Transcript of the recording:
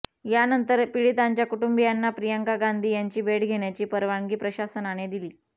यानंतर पीडितांच्या कुटुंबीयांना प्रियांका गांधी यांची भेट घेण्याची परवानगी प्रशासनाने दिली